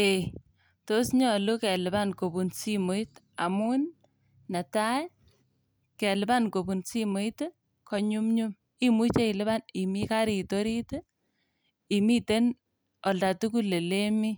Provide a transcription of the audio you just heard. Ei, tos nyolu kelipan kobun simoit amun netai kelipan kobun simoit konyumnyum. Imuche ilipan imi karit orit, imiten olda tugul ilemi.